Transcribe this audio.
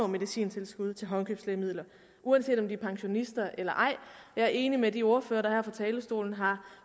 medicintilskuddet til håndkøbslægemidler uanset om de er pensionister eller ej jeg er enig med de ordførere der her fra talerstolen har